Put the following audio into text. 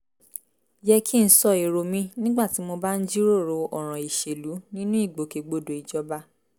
yẹ kí n sọ èrò mi nígbà tí mo bá ń jíròrò ọ̀ràn ìṣèlú nínú ìgbòkègbodò ìjọba